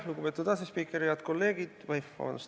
Lugupeetud asespiiker!